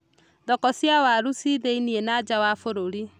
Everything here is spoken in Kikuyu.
Thoko cia waru ci thĩiniĩ na nja wa bũrũri.